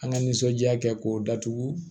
An ka nisɔndiya kɛ k'o datugu